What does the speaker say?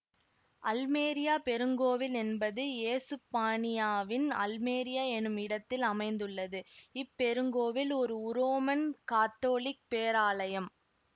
Almeria பெருங்கோவில் என்பது ஏசுப்பானியாவின் அல்மெரியா எனும் இடத்தில் அமைந்துள்ளது இப்பெருங்கோவில் ஒரு உரோமன் கத்தோலிக்க பேராலயம்